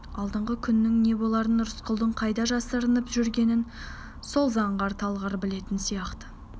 алдағы күннің не боларын рысқұлдың қайда жасырынып жүргенін сол заңғар талғар білетін сияқты